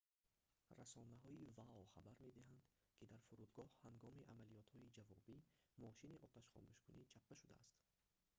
расонаҳои вао хабар медиҳанд ки дар фурудгоҳ ҳангоми амалиётҳои ҷавобӣ мошини оташхомӯшкунӣ чаппа шудааст